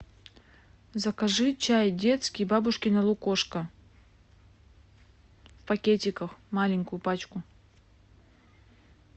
закажи чай детский бабушкино лукошко в пакетиках маленькую пачку